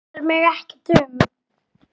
Það varðar mig ekkert um.